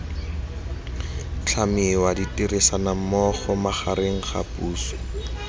tlhamiwa ditirisanommogo magareng ga puso